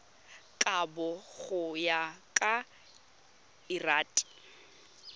kabo go ya ka lrad